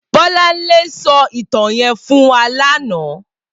Bolanle sò itàn yèn fún wà làná